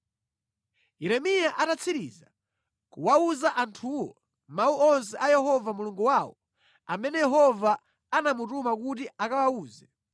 Yeremiya atatsiriza kuwawuza anthuwo mawu onse a Yehova Mulungu wawo, amene Yehova anamutuma kuti akawawuze,